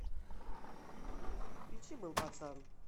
включи был пацан